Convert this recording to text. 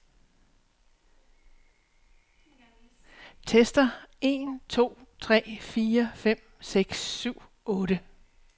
Tester en to tre fire fem seks syv otte.